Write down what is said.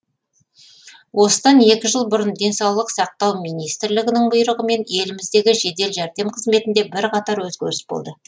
осыдан екі жыл бұрын денсаулық сақтау министрлігінің бұйрығымен еліміздегі жедел жәрдем қызметінде бірқатар өзгеріс болды